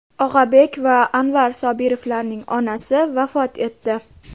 Og‘abek va Anvar Sobirovlarning onasi vafot etdi.